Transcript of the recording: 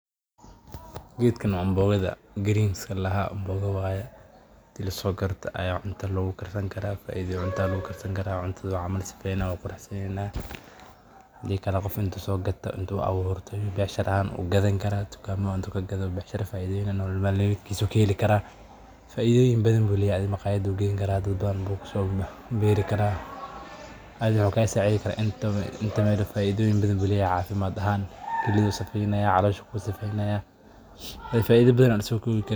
Gedkan anboga waye cunta aya lagu karsani karaa hadi kale qof intu sogado ayu gadi karaa athiga maxu kasacideynaya afidoyin badan oo lasokowi karin ayu leyahay marka aniga said ayan ujeclahay.